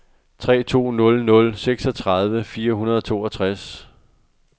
tre to nul nul seksogtredive fire hundrede og toogtres